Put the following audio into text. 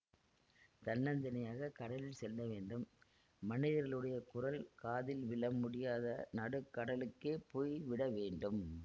தன்னந்தனியாகக் கடலில் செல்ல வேண்டும் மனிதர்களுடைய குரல் காதில் விழ முடியாத நடுக்கடலுக்கே போய் விட வேண்டும்